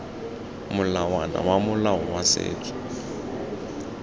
molawana wa molao wa setso